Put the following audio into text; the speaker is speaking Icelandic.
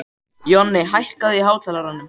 Jonni, hækkaðu í hátalaranum.